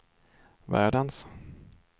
världens